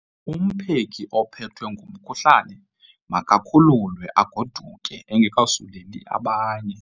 Umpheki ophethwe ngumkhuhlane makakhululwe agoduke engekasuleli abanye.